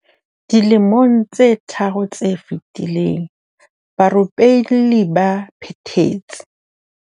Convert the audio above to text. Dilemong tse tharo tse fetileng, barupelli ba phethetse.